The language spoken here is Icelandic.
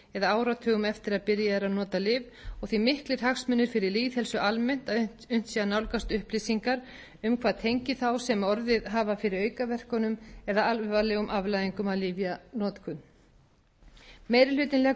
eða áratugum eftir að byrjað er að nota lyf og því miklir hagsmunir fyrir lýðheilsu almennt að unnt sé að nálgast upplýsingar um hvað tengi þá sem orðið hafa fyrir aukaverkunum eða alvarlegum afleiðingum lyfjanotkunar meiri hlutinn leggur áherslu á að